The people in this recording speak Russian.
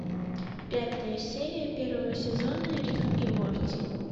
пятая серия первого сезона рик и морти